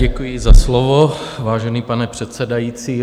Děkuji za slovo, vážený pane předsedající.